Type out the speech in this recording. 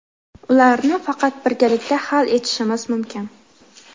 Ularni faqat birgalikda hal etishimiz mumkin.